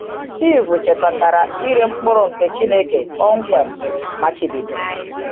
Iv chịkọtara iri mkpụrụ nke Chineke kpọmkwem machibidoro.